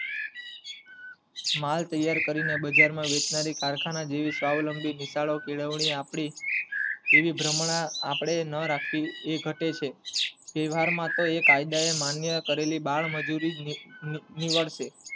માલ તૈયાર કરી ને બજાર માં વેચનારી કારખાના જેવી સ્વાવલંબી નિશાળો કેળવણી આપડી એવી ભર્મણા અપડે ના રાખવી એ ઘટે છે તેહવારો માં તો કાયદાએ માન્ય કરેલી બાલ મજૂરી ની ની નીવડશે